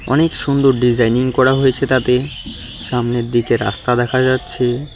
অনেক সুন্দর ডিজাইনিং করা হয়েছে তাতে সামনের দিকে রাস্তা দেখা যাচ্ছে।